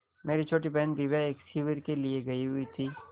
मेरी छोटी बहन दिव्या एक शिविर के लिए गयी हुई थी